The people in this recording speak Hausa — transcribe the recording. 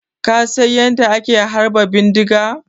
Ka San yanda ake harba bindiga?